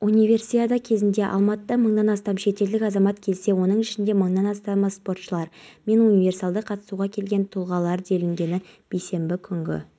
жұмысшылар қоқыс пен құрылыс материалдарының қалдықтарын көшеге лақтырыпты салдарынан жақын маңдағы тұрғындардың аяқ алып жүруіне кедергі